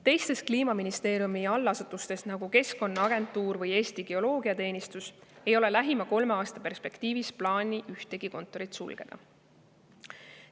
Teistes Kliimaministeeriumi allasutustes, nagu Keskkonnaagentuur või Eesti Geoloogiateenistus, ei ole lähima kolme aasta perspektiivis plaanis ühtegi kontorit sulgeda.